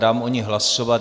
Dám o ní hlasovat.